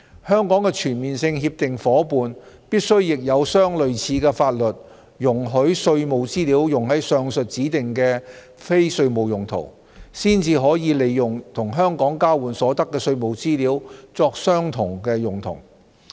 香港的全面性協定夥伴必須亦有相類似的法律容許稅務資料用於上述指定的非稅務用途，才可利用與香港交換所得的稅務資料作相同用途。